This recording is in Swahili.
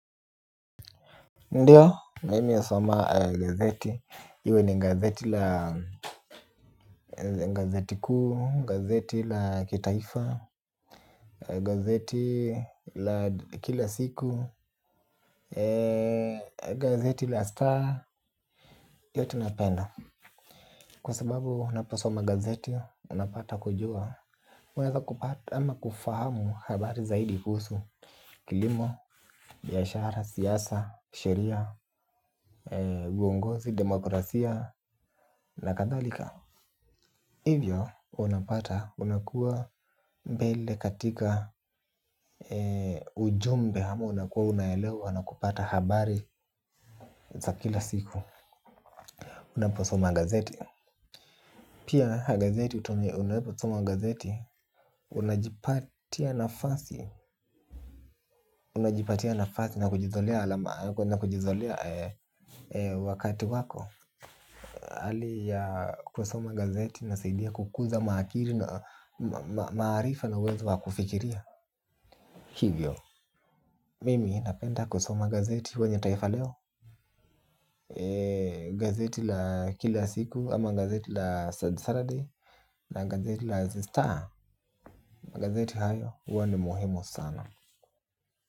Ndio mimi husoma gazeti iwe ni gazeti la gazeti kuu gazeti la kitaifa. Gazeti la kila siku. Gazeti la star. Yote napenda. Kwa sababu unapasoma gazeti, unapata kujua umeweza kupata ama kufahamu habari zaidi kuhusu, kilimo, biashara, siasa, sheria, uongozi, demokrasia na kathalika. Hivyo unapata unakuwa mbele katika ujumbe ama unakuwa unaelewa na kupata habari za kila siku. Unaposoma gazeti. Pia gazeti utume unaposoma gazeti unajipatia nafasi. Unajipatia nafasi na kujizolea wakati wako. Hali ya kusoma gazeti inasaidia kukuza maakiri na maarifa na uwezo wa kufikiria. Hivyo, mimi napenda kusoma gazeti huwa nitaifa leo. Gazeti la kila siku ama gazeti la Saturday Na gazeti la Zistar, gazeti hayo huwa ni muhimu sana.